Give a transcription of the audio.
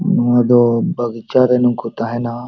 ᱱᱚᱣᱟ ᱫᱚ ᱵᱟᱜᱤᱪᱟ ᱨᱮ ᱱᱚᱝᱠᱟ ᱛᱟᱦᱮᱱᱟ᱾